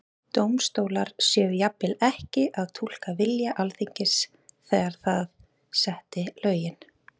Dómstólar séu jafnvel ekki að túlka vilja Alþingis þegar það setti lögin?